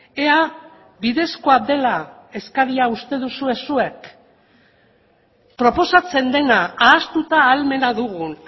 ea bidezkoa dela eskaria uste duzue zuek proposatzen dena ahaztuta ahalmena dugun